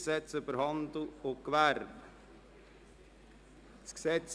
Gesetz über Handel und Gewerbe (HGG).